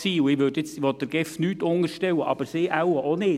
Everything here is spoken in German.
Ich möchte der GEF nichts unterstellen, und sie wohl auch nicht.